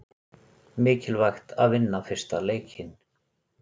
Mikilvægt að vinna fyrsta leikinn